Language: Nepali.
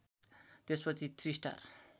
त्यसपछि थ्रि स्टार